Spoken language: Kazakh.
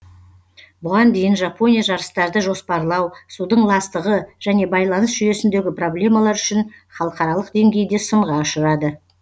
бұған дейін жапония жарыстарды жоспарлау судың ластығы және байланыс жүйесіндегі проблемалар үшін халықаралық деңгейде сынға ұшырады